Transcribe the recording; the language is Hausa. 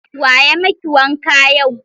Wa ya maki wanka yau?